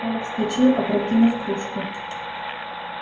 коля вскочил опрокинув кружку